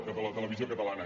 que la televisió catalana